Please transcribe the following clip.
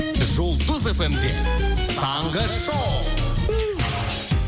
жұлдыз эф эм де таңғы шоу